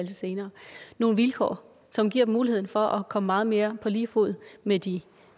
senere nogle vilkår som giver dem muligheden for at komme meget mere på lige fod med de